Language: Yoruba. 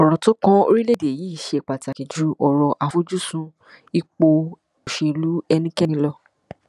ọrọ tó kan orílẹèdè yìí ṣe pàtàkì ju ọrọ àfojúsùn ipò òṣèlú ẹnikẹni lọ